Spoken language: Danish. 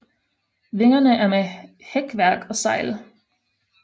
Vingerne er med hækværk og sejl